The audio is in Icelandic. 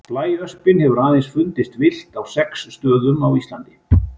Blæöspin hefur aðeins fundist villt á sex stöðum á Íslandi.